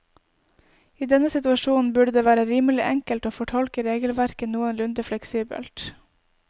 I denne situasjonen burde det være rimelig enkelt å fortolke regelverket noenlunde fleksibelt.